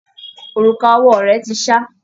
Òrùka owó rẹ̀ ti ṣá.